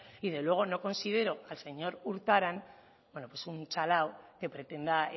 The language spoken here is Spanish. y desde luego no considero que el señor urtaran pues bueno un chalado que pretenda